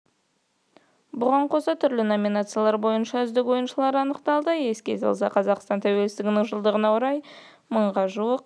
бұған қоса түрлі номинациялар бойынша үздік ойыншылар анықталады еске салсақ қазақстан тәуелсіздігінің жылдығына орай мыңға жуық